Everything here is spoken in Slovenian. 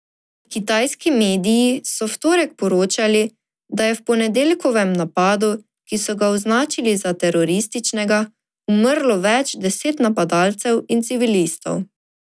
Kitajski mediji so v torek poročali, da je v ponedeljkovem napadu, ki so ga označili za terorističnega, umrlo več deset napadalcev in civilistov.